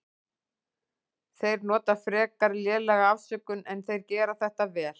Þeir nota frekar lélega afsökun en þeir gera þetta vel.